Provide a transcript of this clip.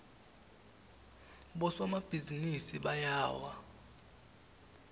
bosomabhizinisi bayawa